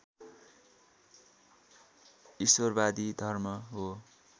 ईश्वरवादी धर्म हो